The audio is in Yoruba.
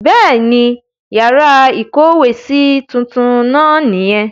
Bẹ́ẹ̀ ni, yàrá ìkówèésí tuntun náà nìyẹn.